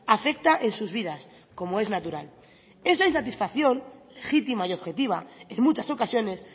afecta en sus vida como es natural esa insatisfacción legítima y objetiva en muchas ocasiones